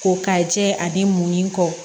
Ko ka jɛ ani mun ni kɔ